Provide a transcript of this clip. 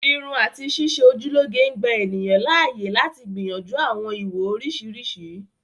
Irun àti ṣíṣe ojú lọ́ge ń gbà ènìyàn láàyè lati gbìyànjú àwọn ìwò oriṣiriṣi